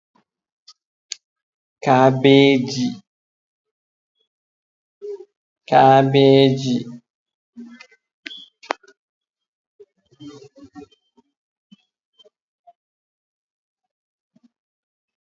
kaabeeji kaabeeji